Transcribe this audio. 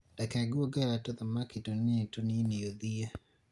reke ngũongerere tũthamaki tũnini tũnini ũthiĩ